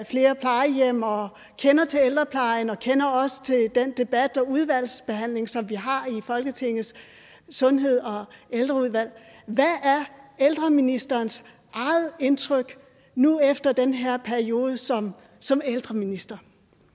flere plejehjem og kender til ældreplejen og kender også til den debat og udvalgsbehandling som vi har i folketingets sundheds og ældreudvalg hvad er ældreministerens eget indtryk nu efter den her periode som som ældreminister